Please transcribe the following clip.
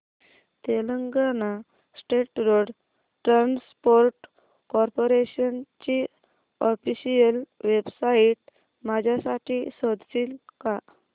Telangana state road transport corporation ची official website माझ्यासाठी शोधशील का